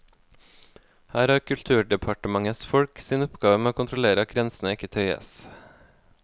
Her har kulturdepartementets folk sin oppgave med å kontrollere at grensene ikke tøyes.